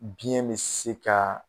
Biɲɛ be se ka